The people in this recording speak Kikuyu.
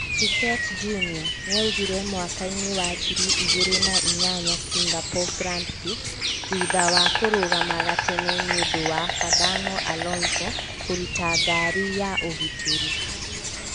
Piquet Jr. nĩagũire mwakainĩ wa ngiri igĩrĩ na inyanya Singapore Grand Pix thutha wa kũrũgama gatene nĩũndũ wa Fernando Alonso , kùruta ngari ya ũgitĩri.